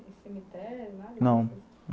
Nem cemitério, nada? Não